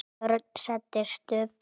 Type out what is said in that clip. Örn settist upp.